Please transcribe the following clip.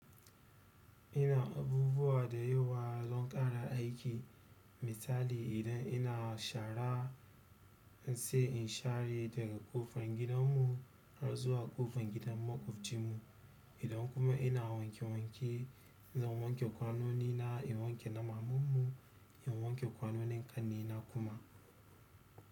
Ina abubuwa da yawa zan ƙara aiki misali idan ina shara in sai in share daga ƙofar gidanmu har zuwa ƙofar gidan makwabcinmu. Idan kuma ina wanke wanke zan wanke kwanoni na in wanke naman mu in wanke kwanonin ƙannena kuma.